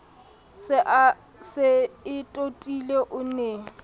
se e totile o ne